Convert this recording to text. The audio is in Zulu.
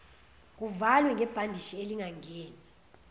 kuvalwe ngebhandishi elingangeni